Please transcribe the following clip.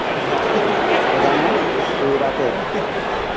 তো রান্না, ওই রাতে?